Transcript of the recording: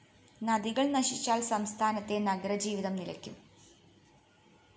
നദികള്‍ നശിച്ചാല്‍ സംസ്ഥാനത്തെ നഗരജീവിതം നിലയ്ക്കും